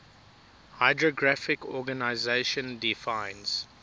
hydrographic organization defines